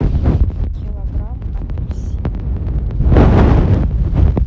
килограмм апельсин